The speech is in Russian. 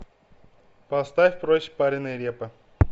поставь проще пареной репы